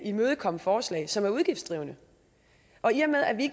imødekomme forslag som er udgiftskrævende og i og med at vi